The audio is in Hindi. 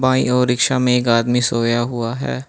बाईं ओर रिक्शा में एक आदमी सोया हुआ है।